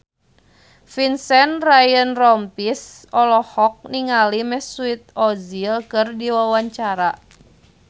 Vincent Ryan Rompies olohok ningali Mesut Ozil keur diwawancara